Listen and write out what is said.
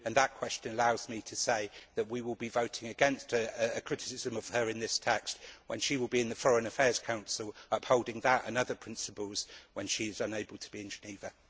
That question allows me to say that we will be voting against a criticism of her in this text, when she will be in the Foreign Affairs Council upholding that and other principles when she is unable to be in Geneva.